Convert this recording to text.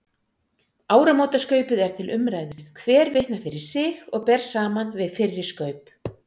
Áramótaskaupið er til umræðu, hver vitnar fyrir sig og ber saman við fyrri skaup.